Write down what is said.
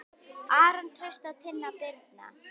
Aron Trausti og Tinna Birna.